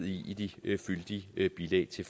i de fyldige bilag til